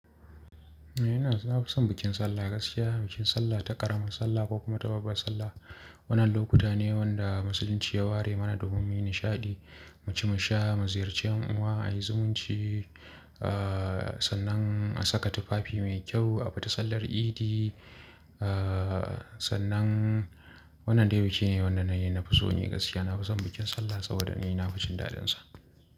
Eh, ina na fi son bikin sallah gaskiya. Bikin Sallah ta ƙaramar Sallah ko kuma ta babbar Sallah. Wannan lokuta ne wanda musulunci ya ware mana domin mu yi nishaɗi, mu ci mu sha, mu ziyarci ’yan uwa, a yi zumunci, sannan a saka tufafi mai kyau a fita sallar idi. Sannan wannan dai biki ne wanda na yi na fi so ne gaskiya. Na fi son bikin Sallah saboda ni na fi cin dadin sa.